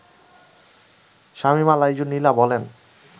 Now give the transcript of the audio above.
শামীমা লাইজু নীলা বলেন